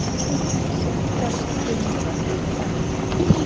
Sigga stumrar yfir henni.